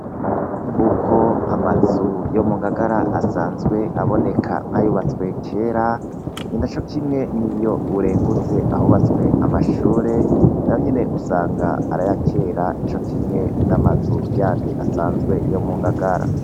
Nk'uko amazu yo mungagara asanzwe aboneka nkayubatswe kera nina cokimwe niyo urengutse ahubatswe amashure nayo nyene usanga araya kera nico kimwe n'amazu asanzwe yo mungagara .